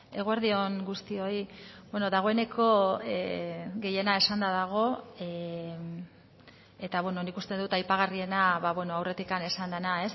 eguerdi on guztioi dagoeneko gehiena esanda dago eta nik uste dut aipagarriena aurretik esan dena